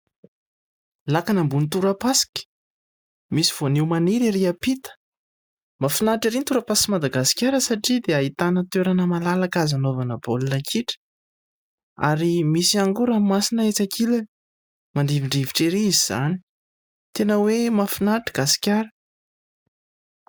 Lakana ambony tora-pasika misy voanio maniry erỳ ampita mahafinaritra erỳ ny tora-pasik' i Madagasikara satria dia ahitana toerana malalaka azo anaovana baolina kitra ary misy ihany koa ranomasina etsy ankilany mandrivondrivotra erỳ izy izany. Tena hoe mahafinaritra gasikara !